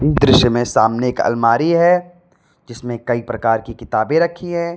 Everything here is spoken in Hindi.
दृश्य में सामने एक अलमारी है जिसमें कई प्रकार की किताबे रखी है।